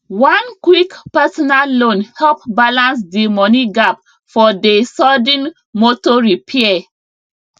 one quick personal loan help balance d money gap for dey sudden motor repair